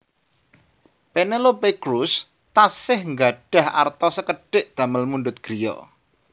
Penelope Cruz tasih nggadhah arta sekedhik damel mundhut griya